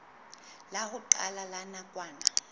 la ho qala la nakwana